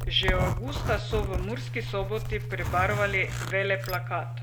Že avgusta so v Murski Soboti prebarvali veleplakat.